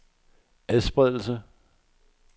adspredelse